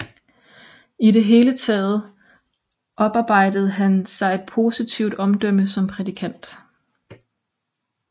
I det hele taget oparbejdede han sig et positivt omdømme som prædikant